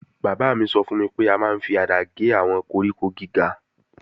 Bàbá mi sọ fún mi pé a máa ń fi àdá gé àwọn koríko gíga